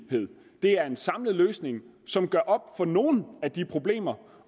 det er en samlet løsning som gør op med nogle af de problemer